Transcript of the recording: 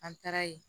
An taara ye